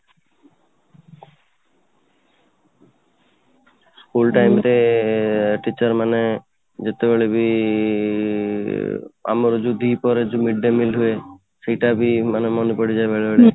school time ରେ teacher ମାନେ ଯେତେବେଳେ ବି ଆମର ଯୋଉ ଦିପହରେ ଯୋଉ midday meal ହୁଏ ସେଇଟା ବି ମାନେ ପଡ଼ିଯାଏ ବେଳେବେଳେ